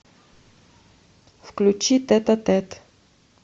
включи тет а тет